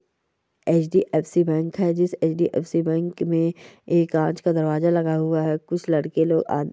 H. D. F. C. Bank है जिस H. D. F. C. मे एक कांच का दरवाजा लगा हुआ है कुछ लड़के लोग --